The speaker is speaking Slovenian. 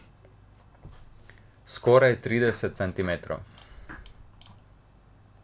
Skoraj trideset centimetrov.